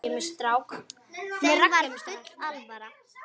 Þeim var full alvara.